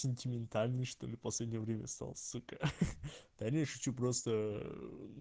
сентиментальный что ли последнее время стал сука да не шучу просто